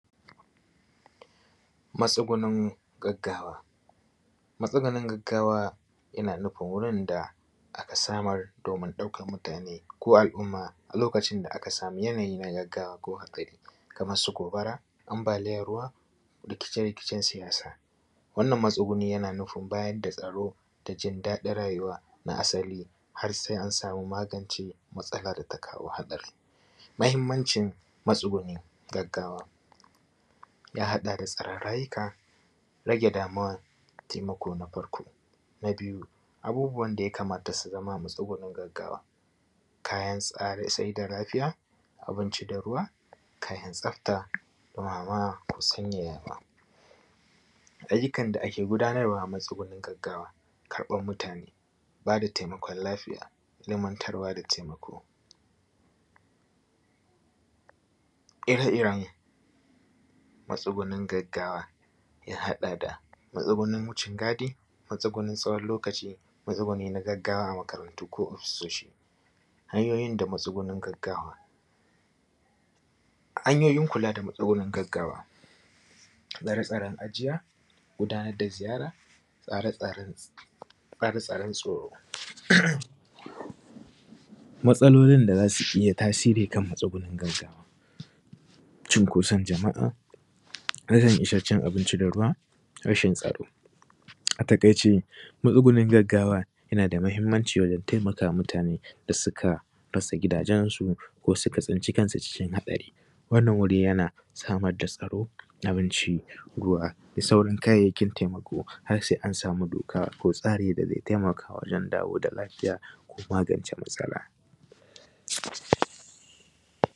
Masugunin gaggawa. Matsugunin gaggawa yana nufin wurin da aka samar domin ɗaukan mutane ko al’umma a lokacin da aka samu yanayi na gaggawa ko hatsari kamar su gobara, ambalin ruwa rikice-rikicen siyasa, wannan matsuguni yana nufin bayar da tsaro da jin daɗin rayuwa na asali har se an samu hannu magance matsalar ka kawo hatsarin. Mahinmancin matsuguni gagawa ya haɗa da tsare rayuka rage damuwan taimako na farko, na biyu abubuwan da ya kamata su zama matsuguni na gaggawa kayan tsarin sai da lafiya abinci da ruwa kayan tsafta, ruwa ko sanya yarda. Ayyukan da ake gudanarwa matsugunin gaggawa karɓan mutane ba da taimakon lafiya, ilimantarwa da taimako. Ire-iren matsugunin gaggawa ya haɗa da matsugunin wucingadi, matsugunin tsawon lokaci, matsuuni na gaggawa a makarantu ko asishishi. Hanyoyin da matsugunin gaggawa, hanyoyin kula da matsugunin gaggawa, tsare-tsare ajiya, gudanar da ajiya, tsare-tsare tsoro. Matsalolin da za su iya tasiri da matsugunin gaggawa cunkoson jama’a, rashin abinci da ruwa, rashin tsaro. A taƙaice matsugunin gaggawa yana da mahinmanci wajen taimakawa mutane da suka rasa gidajensu ko suka tsinci kansu cikin hatsari, wannan wuri yana samar da tsaro, abinci, ruwa da sauran kayayyakin taimako har se an samu tsari da ze taimaka wajen samar da lafiya ko magance matsala.